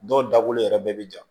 Dɔw dabɔlen yɛrɛ bɛɛ bɛ ja